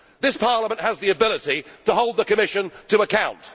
This Parliament has the ability to hold the Commission to account.